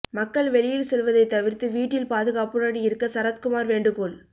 மக்கள் வெளியில் செல்வதை தவிர்த்து வீட்டில் பாதுகாப்புடன் இருக்க சரத்குமார் வேண்டுகோள்